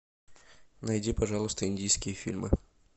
найди пожалуйста индийские фильмы